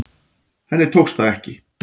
Henni tókst það ekki.